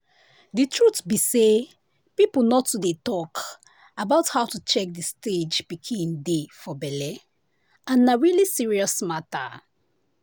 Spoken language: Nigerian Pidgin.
the truth be say people nor too dey talk about how to check the stage pikin dey for belle and na really serious matter.